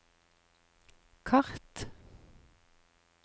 kart